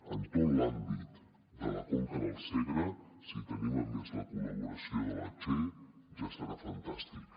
en tot l’àmbit de la conca del segre si tenim a més la col·laboració de la che ja serà fantàstic